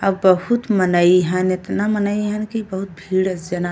आ बहुत मनई हन। एतना मनई हन की बहुत भीड़ स् जना --